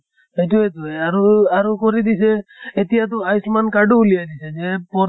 সেইতোয়েটো এহ আৰু আৰু কৰি দিছেীতিয়া তো আয়োচ্মান card ও ওলিয়াই দিছে যে পৰ